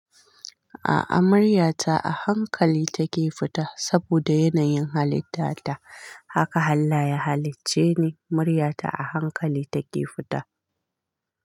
A'a, muryata a hankali take fita saboda yanayin halitta ta. Haka allah ya halicce ni muryata a hankali take fita.